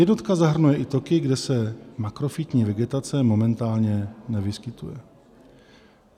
Jednotka zahrnuje i toky, kde se makrofytní vegetace momentálně nevyskytuje."